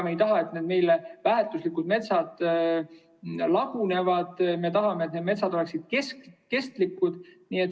Me ei taha, et need meile väärtuslikud metsad laguneksid, me tahame, et need metsad oleksid kestlikud.